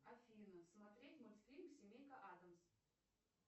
афина смотреть мультфильм семейка адамс